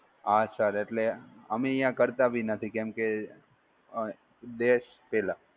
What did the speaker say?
હા સર એટલે અમે અહિયાં કરતા ભી નથી કેમકે દેશ પેલા.